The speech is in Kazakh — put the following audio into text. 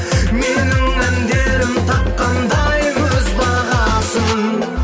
менің әндерім тапқандай өз бағасын